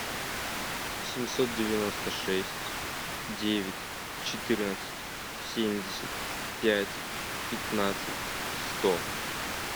семьсот девяносто шесть девять четырнадцать семьдесят пять пятнадцать сто